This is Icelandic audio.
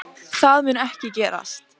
Það mun ekki gerast